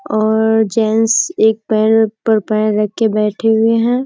और जेंट्स एक पैर पर पैर रख के बैठे हुए है।